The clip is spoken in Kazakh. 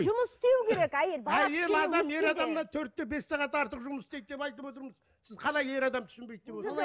жұмыс істеу керек әйел төрт те бес сағат артық жұмыс істейді деп айтып отырмыз сіз қалай ер адам түсінбейді деп